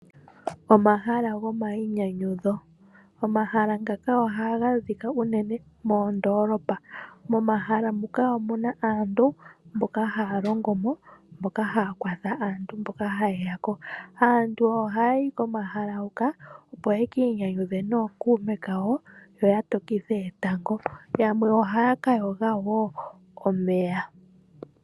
Omahala gomainyanyudho oha ga adhika unene moondolopa, nomomahala ngoka omuna aantu mboka ha ya longomo moku kwathela aatalelipo mboka ha yayi komahala ngoka. Aantu oha ya yi komahala gomainyanyudho opo ye ki inyanyudhe nokuume oshowo oku to kitha etango noyamwe oha ya ka yoga omeya.